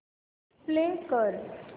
play कर